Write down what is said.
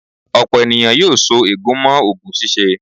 Ọ̀pọ̀ ènìyàn yóò so ègún mọ́ oògùn ṣíṣe.